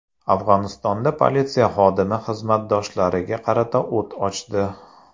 Afg‘onistonda politsiya xodimi xizmatdoshlariga qarata o‘t ochdi.